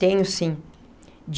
Tenho, sim.